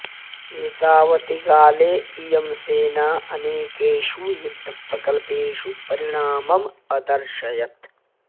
एतावति काले इयं सेना अनेकेषु युद्धप्रकल्पेषु परिणामम् अदर्शयत्